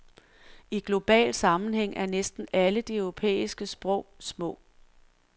I global sammenhæng er næsten alle de europæiske sprog små.